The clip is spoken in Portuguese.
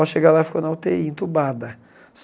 Ao chegar lá, ficou na u tê í, entubada.